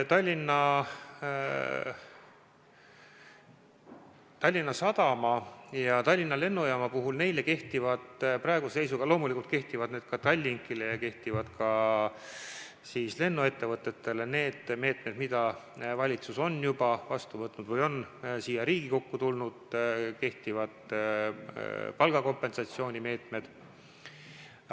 Tallinna Sadama ja Tallinna Lennujaama puhul kehtivad praeguse seisuga – loomulikult kehtivad need ka Tallinkile ja siis lennuettevõtetele – need meetmed, mis valitsus on juba vastu võtnud või on siia Riigikokku saatnud, ehk siis palgakompensatsiooni meetmed.